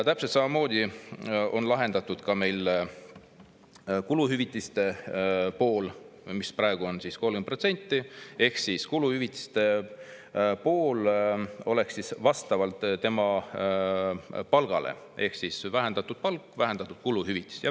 Täpselt samamoodi on meil lahendatud ka kuluhüvitised: praegu on need 30%, aga vastaksid kuluhüvitised tema palgale ehk kui on vähendatud palk, on vähendatud ka kuluhüvitis.